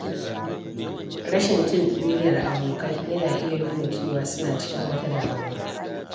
Rashin jin ɗuriyar abokai yana iya nuna cewa suna cikin wata damuwa.